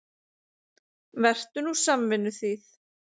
Vertu nú samvinnuþýð.